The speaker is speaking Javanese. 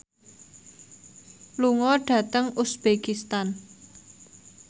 lunga dhateng uzbekistan